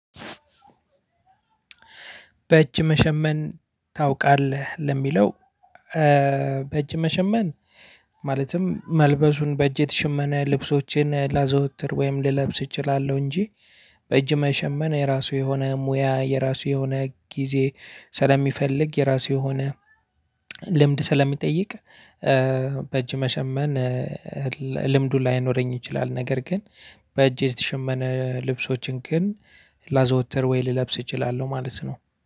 በእጅ መሸመን ታውቃለህ? ለሚለው በእጅ መሸመን ማለትም መልበሱን በእጅ የተሸመነ ልብሶቼን ላዘወትር ወይም ልለብስ እችላለሁ እንጂ በእጅ መሸመን የራሱ የሆነ ሙያ የራሱ የሆነ ጊዜ ስለሚፈልግ የራሱ የሆነ ልምድ ስለሚጠይቅ በእጅ መሰመን ልምዱ ላይኖረኝ ይችላል። ነገር ግን በእጅ የተሸመነ ልብሶችን ግን ላዘወትር ወይ ልለብስ እችላለሁ ማለት ነው።